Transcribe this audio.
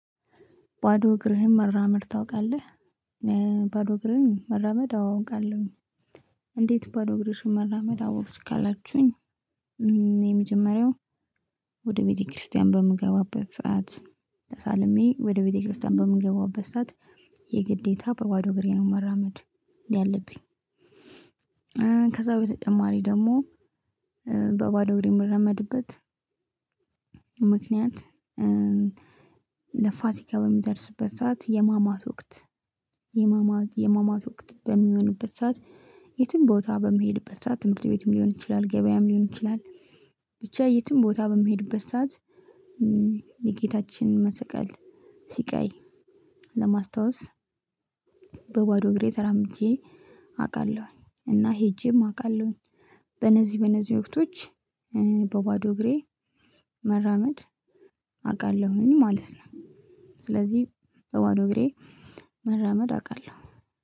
ባዶ እግርህን መራመድ ታውቃለህ? ባዶ እግሬን መራመድ አዎ አውቃለሁኝ። እንዴት ባዶ እግርሽን መራመድ አወክሽ ካላችሁኝ? የመጀመሪያው ወደ ቤተክርስቲያን በምገባበት ሰዓት ተሳልሜ ወደ ቤተክርስቲያን በምገባበት ሰዓት የግዴታ በባዶ እግሬ ነው መራመድ ያለብኝ። ከዛ በተጨማሪ ደግሞ በባዶ እግሬ የምራመድበት ምክንያት። ለፋሲካ በሚደርስበት ሰዓት የማማት ወቅት የማማት የማማት ወቅት በሚሆንበት ሰዓት የትም ቦታ በምሄድበት ሰዓት ትምህርት ቤትም ሊሆን ይችላል ገበያም ሊሆን ይችላል። ብቻ የትም ቦታ በምሄድበት ሰዓት። የጌታችን መሰቀል ሲቃይ ለማስታወስ በባዶ እግሬ ተራምጄ አውቃለሁኝ እና ሄጄም አውቃለሁኝ። በነዚህ በነዚህ ወቅቶች በባዶ እግሬ መራመድ አውቃለሁኝ ማለት ነው። ስለዚህ በባዶ እግሬ መራመድ አውቃለሁ